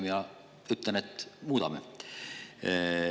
Mina ütlen, et muudame.